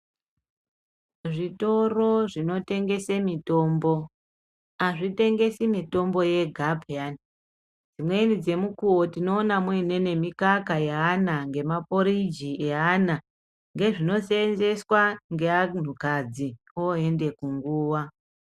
Zvitoro zvinotengese mitombo hazvitengesi mitombo yega peyani. Dzimweni dzemukuwo tinoona muine nemikaka yeana, ngemaporiji eana, ngezvinosenzeswa ngeantu kadzi oende kunguva.